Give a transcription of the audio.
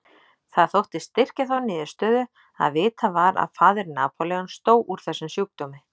Það þótti styrkja þá niðurstöðu að vitað var að faðir Napóleons dó úr þessum sjúkdómi.